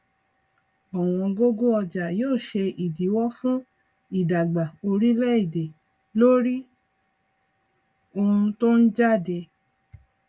ọwọn gógó ọjà yóò ṣe ìdíwó fún ìdàgbà oríléèdè lórí ohun tó ń jáde